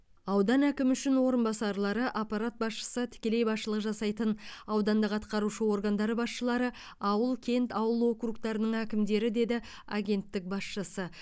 аудан әкімі үшін орынбасарлары аппарат басшысы тікелей басшылық жасайтын аудандық атқарушы органдары басшылары ауыл кент ауыл округтарының әкімдері деді агенттік басшысы